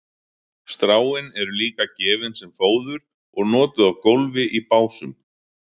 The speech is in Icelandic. stráin eru líka gefin sem fóður og notuð á gólf í básum